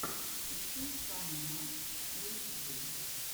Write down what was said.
включай фаннимашрумсскул